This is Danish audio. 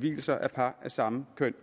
vielser af par af samme køn